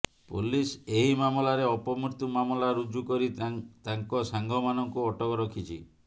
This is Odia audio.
ପୋଲିସ୍ ଏହି ମାମଲାରେ ଅପମୃତ୍ୟୁ ମାମଲା ରୁଜୁ କରି ତାଙ୍କ ସାଙ୍ଗମାନଙ୍କୁ ଅଟକ ରଖିଛି